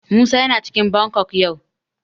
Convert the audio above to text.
Musa yana cikin Bangkok yau.